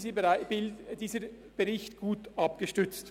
Grundsätzlich ist dieser Bericht gut abgestützt.